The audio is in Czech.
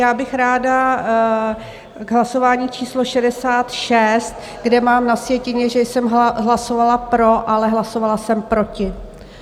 Já bych ráda k hlasování číslo 66, kde mám na sjetině, že jsem hlasovala pro, ale hlasovala jsem proti.